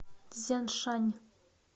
цзяншань